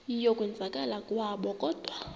yokwenzakala kwabo kodwa